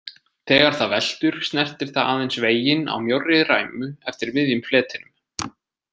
Þegar það veltur snertir það aðeins veginn á mjórri ræmu eftir miðjum fletinum.